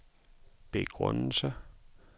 begrundelse